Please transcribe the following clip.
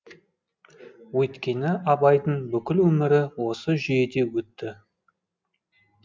өйткені абайдың бүкіл өмірі осы жүйеде өтті